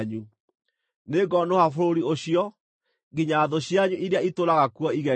Nĩngonũha bũrũri ũcio, nginya thũ cianyu iria itũũraga kuo igege.